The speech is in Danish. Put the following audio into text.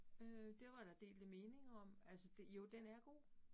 Øh det var der delte meninger om, altså det jo den er god